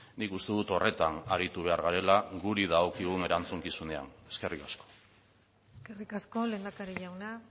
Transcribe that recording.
nik uste dut horretan aritu behar garela gure dagokigun erantzukizunean eskerrik asko eskerrik asko lehendakari jauna